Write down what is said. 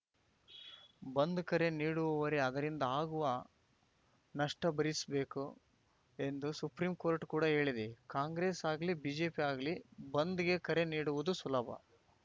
ಬಂದ್‌ ಕರೆ ನೀಡುವವರೇ ಅದರಿಂದಾಗುವ ನಷ್ಟಭರಿಸಬೇಕು ಎಂದು ಸುಪ್ರೀಂ ಕೋರ್ಟ್‌ ಕೂಡ ಹೇಳಿದೆ ಕಾಂಗ್ರೆಸ್‌ ಆಗಲಿ ಬಿಜೆಪಿ ಆಗಲಿ ಬಂದ್‌ಗೆ ಕರೆ ನೀಡುವುದು ಸುಲಭ